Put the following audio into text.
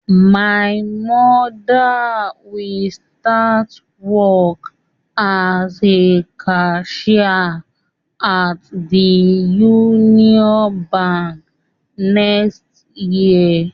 My Mother will start work as a cashier at the Unity bank next year